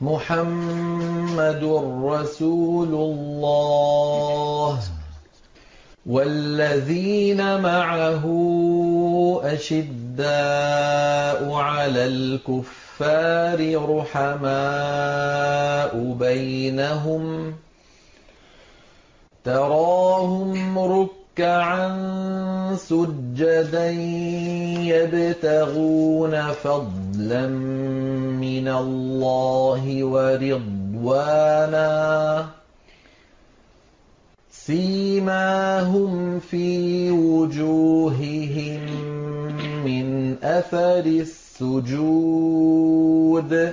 مُّحَمَّدٌ رَّسُولُ اللَّهِ ۚ وَالَّذِينَ مَعَهُ أَشِدَّاءُ عَلَى الْكُفَّارِ رُحَمَاءُ بَيْنَهُمْ ۖ تَرَاهُمْ رُكَّعًا سُجَّدًا يَبْتَغُونَ فَضْلًا مِّنَ اللَّهِ وَرِضْوَانًا ۖ سِيمَاهُمْ فِي وُجُوهِهِم مِّنْ أَثَرِ السُّجُودِ ۚ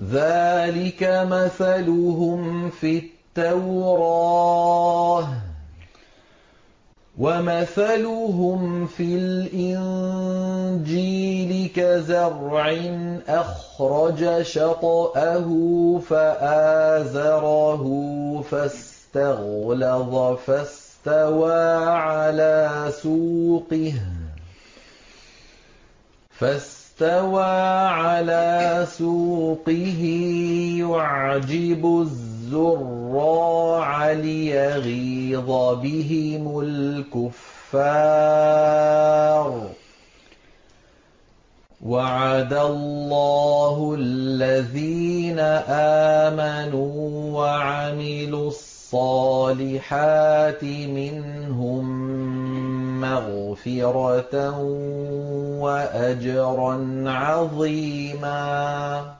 ذَٰلِكَ مَثَلُهُمْ فِي التَّوْرَاةِ ۚ وَمَثَلُهُمْ فِي الْإِنجِيلِ كَزَرْعٍ أَخْرَجَ شَطْأَهُ فَآزَرَهُ فَاسْتَغْلَظَ فَاسْتَوَىٰ عَلَىٰ سُوقِهِ يُعْجِبُ الزُّرَّاعَ لِيَغِيظَ بِهِمُ الْكُفَّارَ ۗ وَعَدَ اللَّهُ الَّذِينَ آمَنُوا وَعَمِلُوا الصَّالِحَاتِ مِنْهُم مَّغْفِرَةً وَأَجْرًا عَظِيمًا